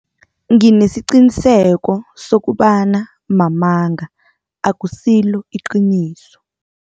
Nginesiqiniseko sokobana mamanga akusilo iqiniso.